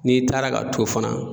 N'i taara ka t'o fana